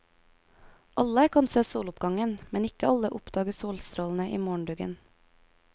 Alle kan se soloppgangen, men ikke alle oppdager solstrålene i morgenduggen.